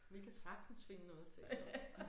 Vi kan sagtens finde noget at tale om